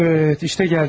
Əvət, işdə gəldik.